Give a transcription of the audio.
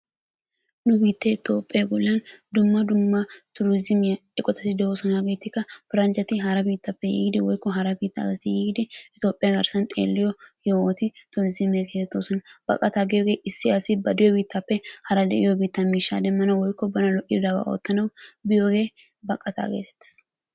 Nu biittee toophphee bollan dumma dumma turiizimiya eqotati de'oosona. Hageetikka paranjjati hara biittaappe yiidi woyikko hara biittaa asi yiidi tophphiya garssan xeelliyo yohoti turiizimiya geetettoosona. Baqataa giyogee issi asi ba diyo biittaappe hara de'iyo biittaa miishshaa demmanawu woykko bana lo'idabaa oottanawu biyogee baqataa geetettes.